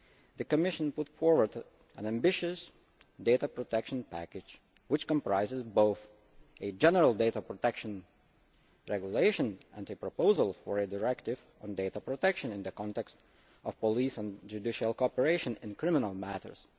the Commission put forward an ambitious data protection package which comprises both a general data protection regulation and a proposal for a directive on data protection in the context of police and judicial cooperation in criminal matters.